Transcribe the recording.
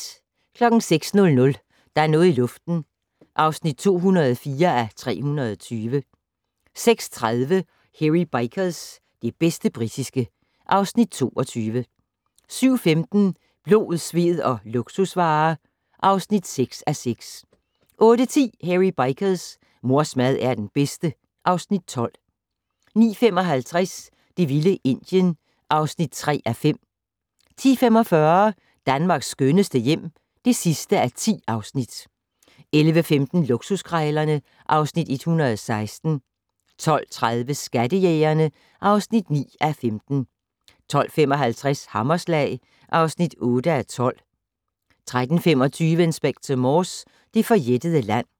06:00: Der er noget i luften (204:320) 06:30: Hairy Bikers - det bedste britiske (Afs. 22) 07:15: Blod, sved og luksusvarer (6:6) 08:10: Hairy Bikers: Mors mad er den bedste (Afs. 12) 09:55: Det vilde Indien (3:5) 10:45: Danmarks skønneste hjem (10:10) 11:15: Luksuskrejlerne (Afs. 116) 12:30: Skattejægerne (9:15) 12:55: Hammerslag (8:12) 13:25: Inspector Morse: Det forjættede land